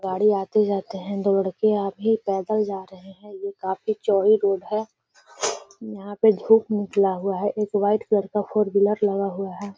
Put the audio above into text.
गाड़ी आते-जाते हैं। दौड़ के आभी पैदल जा रहे हैं। ये काफी चौड़ी रोड है। यहाँ पे धूप निकला हुआ है। एक व्हाइट कलर का फोर व्हीलर लगा हुआ है।